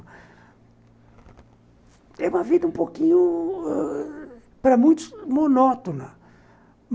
É uma vida um pouquinho ãh... para muitos, monótona.